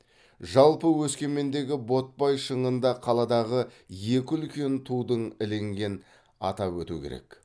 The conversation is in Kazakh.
жалпы өскемендегі ботпай шыңында қаладағы екі үлкен тудың ілінген атап өту керек